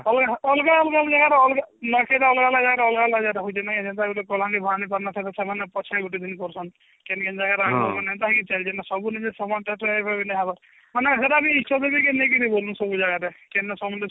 ଅଲଗା ଅଲଗା ଜାଗାରେ ଅଲଗା ନୂଆଖାଇଟା ଅଲଗା ଅଲଗା ଜାଗାରେ ହଉଛି ନା ହେନ୍ତା ଗୁଟେ କଳାହାଣ୍ଡି ଫଳାହାଣ୍ଡି ସେମାନେ ପଛରେ ଗୁଟେଦିନ କରୁଛନ କେନ୍ତା କେନ୍ତା ଜାଗାରେ ଆଗୁଆ ଚାଲିଛି ସବୁ ସମାନ ଥାଏ ତ କହିବି ନାଇଁ ହେବ ନାଇଁ ସେଟା ବି କେନ